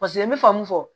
Paseke n bɛ faamu fɔ